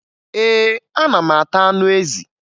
Ee, ana m ata anụ ezi